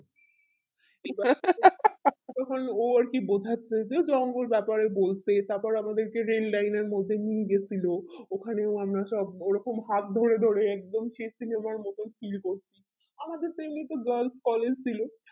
তখন ও আরকি বোঝাচ্ছে যে জঙ্গল ব্যাপারে বলতে তার পরে আমাদেরকে যে liner নিয়ে গেছিলো ওখানে আমরা সব ওই রকম হাত ধরে ধরে একদম সেই cinema র মতো feel হচ্ছে আমাদের তো এমনিতে girls collage ছিলো